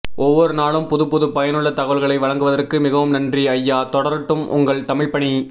ஒவ்வொரு நாளும் புதுப்புது பயனுள்ள தகவல்களை வழங்குவதற்கு மிகவும் நன்றி அய்யா தொடரடும் உங்கள் தமிழ் பணி